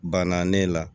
Banna ne la